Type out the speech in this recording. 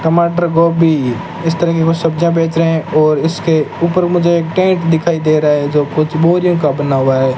टमाटर गोभी इस तरह की वो सब्जियां बेच रहे है और इसके ऊपर मुझे एक टेंट दिखाई दे रहा है जो कुछ बोरियों का बना हुआ है।